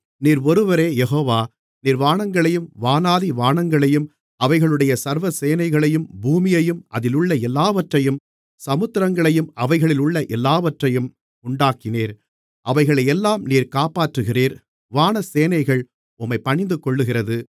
நீர் ஒருவரே யெகோவா நீர் வானங்களையும் வானாதி வானங்களையும் அவைகளுடைய சர்வ சேனைகளையும் பூமியையும் அதிலுள்ள எல்லாவற்றையும் சமுத்திரங்களையும் அவைகளிலுள்ள எல்லாவற்றையும் உண்டாக்கினீர் அவைகளையெல்லாம் நீர் காப்பாற்றுகிறீர் வானசேனைகள் உம்மை பணிந்துகொள்ளுகிறது